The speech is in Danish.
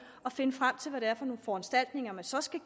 og finde frem til hvad det er for nogle foranstaltninger man så skal